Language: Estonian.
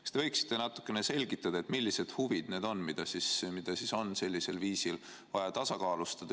Kas te võiksite natukene selgitada, millised huvid need on, mida on vaja sellisel viisil tasakaalustada?